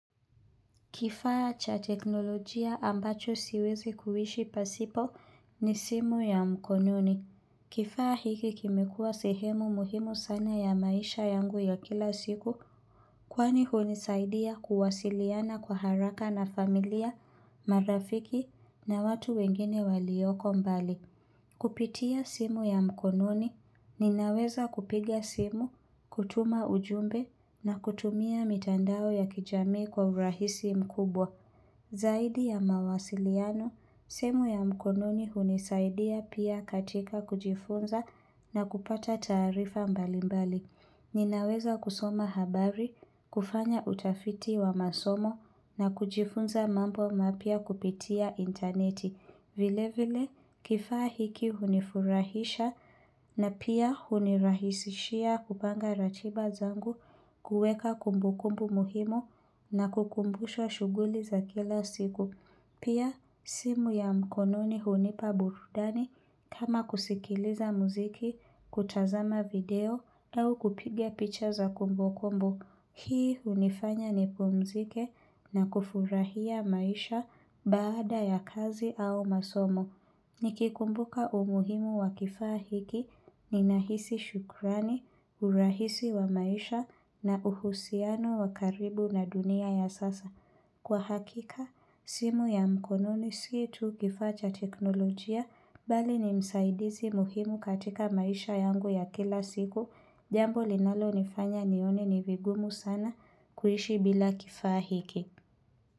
Kifaa cha teknolojia ambacho siwezi kuishi pasipo ni simu ya mkononi. Kifaa hiki kimekuwa sehemu muhimu sana ya maisha yangu ya kila siku, kwani hunisaidia kuwasiliana kwa haraka na familia, marafiki na watu wengine walioko mbali. Kupitia simu ya mkononi, ninaweza kupiga simu, kutuma ujumbe na kutumia mitandao ya kijamii kwa urahisi mkubwa. Zaidi ya mawasiliano, simu ya mkononi hunisaidia pia katika kujifunza na kupata taarifa mbalimbali. Ninaweza kusoma habari, kufanya utafiti wa masomo na kujifunza mambo mapya kupitia interneti. Vile vile, kifaa hiki hunifurahisha na pia hunirahisishia kupanga ratiba zangu, kuweka kumbukumbu muhimu na kukumbusha shughuli za kila siku. Pia simu ya mkononi hunipa burudani kama kusikiliza muziki, kutazama video au kupiga picha za kumbukumbu. Hii hunifanya nipumzike na kufurahia maisha baada ya kazi au masomo. Nikikumbuka umuhimu wa kifaa hiki ninahisi shukurani, urahisi wa maisha na uhusiano wa karibu na dunia ya sasa. Kwa hakika, simu ya mkononi si tu kifaa cha teknolojia bali ni msaidizi muhimu katika maisha yangu ya kila siku, jambo linalonifanya nione ni vigumu sana kuishi bila kifaa hiki.